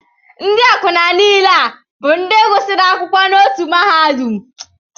Ndị akwụna niile a bụ ndị gụsịrị akwụkwọ n'otu mahadum?